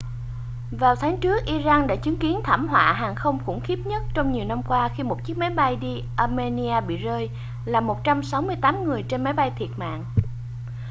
vào tháng trước iran đã chứng kiến thảm họa hàng không khủng khiếp nhất trong nhiều năm qua khi một chiếc máy bay đi armenia bị rơi làm 168 người trên máy bay thiệt mạng